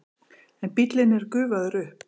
En bíllinn er gufaður upp.